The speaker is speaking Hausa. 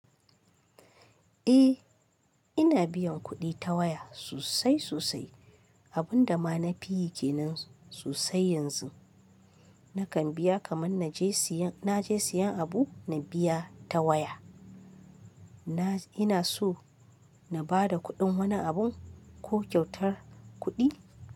Eh, ina biyan kuɗi ta waya sosai sosai. Abun da ma na fi yi kenan sosai yanzu. Nakan biya kaman na je siyan, na je siyan abu na biya ta waya. Na, ina so na ba da kuɗin wani abu ko kyautar kuɗi.